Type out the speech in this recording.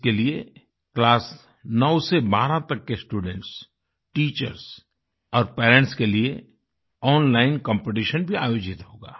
इसके लिए क्लास 9 से 12 तक के स्टूडेंट्स टीचर्स और पेरेंट्स के लिए ओनलाइन कॉम्पिटिशन भी आयोजित होगा